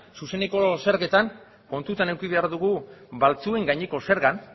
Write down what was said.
zuzeneko zergatan kontutan eduki behar dugu baltzuen gaineko zergan